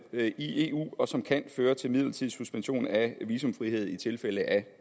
er i eu og som kan føre til midlertidig suspension af visumfrihed i tilfælde af